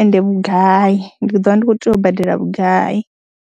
ende vhugai, ndi ḓo vha ndi khou tea u badela vhugai.